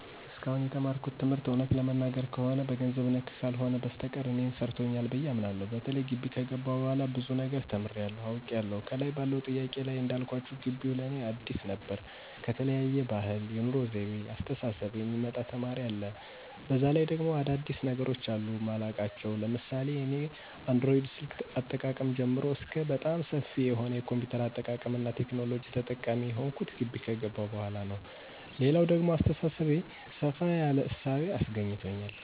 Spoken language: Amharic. እስካሁን የተማርኩት ትምህርት እውነት ለመናገር ከሆነ በገንዘብ ነክ ነገር ካልሆነ በስተቀር እኔን ሰርቶኛል ብየ አምናለሁ። በተለይ ጊቢ ከገባሁ በኋላ ብዙ ነገር ተምሬያለሁ፤ አውቄያለሁ። ከላይ ባለው ጥያቄ ላይ እንዳልኳችሁ ጊቢው ለእኔ አዲስ ነበር ከተለያየ ባህል፣ የኑሮ ወይቤ፣ አስተሳሰብ የሚመጣ ተማሪ አለ፤ በዛ ላይ ደግሞ አዳዲስ ነገሮች አሉ ማላውቃቸው ለምሳሌ እኔ አንድሮይድ ስልክ አጠቃቀም ጀምሮ እስከ በጣም ሰፊ የሆነ የ ኮምፒውተር አጠቃቀምና ቴክኖሎጂ ተጠቃሚ የሆንሁት ጊቢ ከገባሁ በኋላ ነው። ሌላው ደግሞ በአሰተሳሰቤ ሰፋ ያለ እሳቤ አስገኝቶኛል።